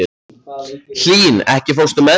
Hlín, ekki fórstu með þeim?